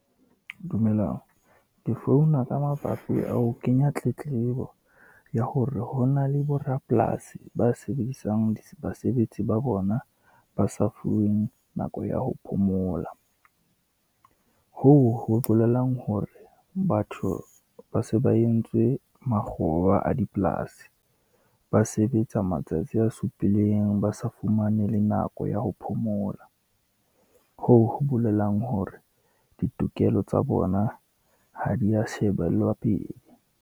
Dumelang, ke founa ka mabapi a ho kenya tletlebo ya hore, ho na le borapolasi ba sebedisang basebetsi ba bona, ba sa fuweng nako ya ho phomola. Hoo ho bolelang hore batho ba se ba entswe makgoba a dipolasi, ba sebetsa matsatsi a supileng ba sa fumane le nako ya ho phomola. Hoo ho bolelang hore ditokelo tsa bona ha di ya shebellwa pele.